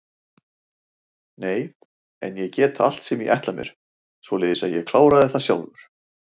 Nei en ég get allt sem ég ætla mér, svoleiðis að ég kláraði það sjálfur.